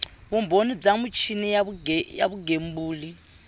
vumbhoni bya michini ya vugembuli